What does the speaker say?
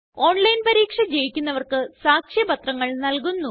online പരീക്ഷ ജയിക്കുന്നവര്ക്ക് സാക്ഷ്യപത്രങ്ങള് നല്കുന്നു